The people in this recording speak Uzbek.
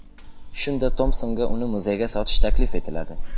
Shunda Tompsonga uni muzeyga sotish taklif etiladi.